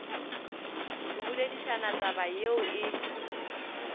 go boledišana taba yeo e